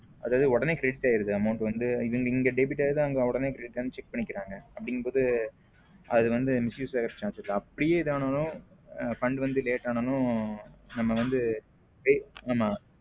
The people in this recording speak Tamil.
அதாவது உடனே credit ஆகிடுது amount வந்து இங்க debit ஆகிருது உடனே credit ஆணு check பண்ணிக்கிறாங்க. அப்படின்னு போது அது வந்து miss use ஆக chances இல்ல அப்படின்னா fund வந்து late ஆனாலும் நம்ம வந்து.